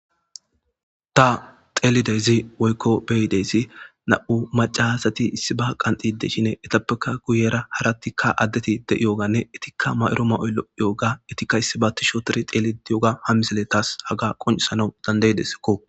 ta xeelidezi woykko beyidesi na7u macahasati issi ba qanxide shine etappeka guyera harattikka addeti de7iyoganne etikka mayro ma7oyllo yooga etikka issibaati shootiri xeelidiyooga ha misile taas haga qoncisanau dandaydesakko